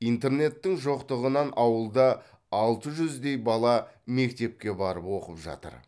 интернеттің жоқтығынан ауылда алты жүздей бала мектепке барып оқып жатыр